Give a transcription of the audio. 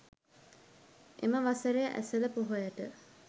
එම වසරේ ඇසළ පොහොයට